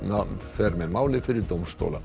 fer með málið fyrir dómstóla